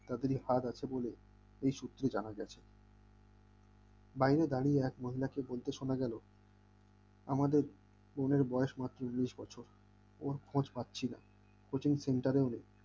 তাদেরই হাত আছে বলে এই সুত্রে জানা গেছে বাইরে দাঁড়িয়ে এক মহিলাকে বলতে শোনা গেল আমাদের বোনের বয়স মাত্র উনিশ বছর ওর্ র্খোঁজ খোঁজ পাচ্ছিনা coaching centre ও নেই